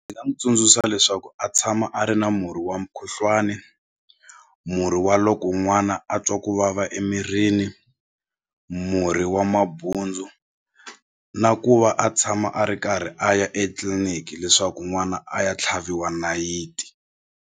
tsundzuxa leswaku a tshama a ri na murhi wa mukhuhlwani murhi wa loko n'wana a twa ku vava emirini murhi wa mabundzu na ku va a tshama a ri karhi a ya etliliniki leswaku n'wana a ya tlhaviwa nayiti.